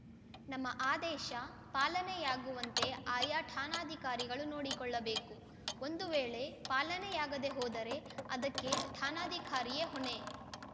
ನಮ್ಮ ಆದೇಶ ಪಾಲನೆಯಾಗುವಂತೆ ಆಯಾ ಠಾಣಾಧಿಕಾರಿಗಳು ನೋಡಿಕೊಳ್ಳಬೇಕು ಒಂದು ವೇಳೆ ಪಾಲನೆಯಾಗದೇ ಹೋದರೆ ಅದಕ್ಕೆ ಠಾಣಾಧಿಕಾರಿಯೇ ಹೊಣೆ